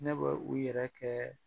Ne bɛ u yɛrɛ kɛ